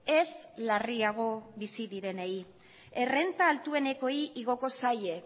ez larriago bizi direnei errenta altuenekoei igoko zaie